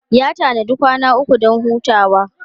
Ya tanadi kwana uku don hutawa.